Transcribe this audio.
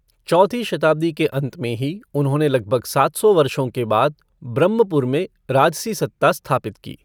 चौथी शताब्दी के अंत में ही उन्होंने लगभग सात सौ वर्षों के बाद ब्रह्मपुर में राजसी सत्ता स्थापित की।